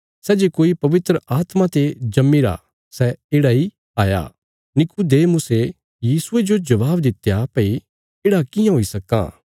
निकुदेमुसे यीशुये जो जबाब दित्या भई येढ़ा कियां हुई सक्कां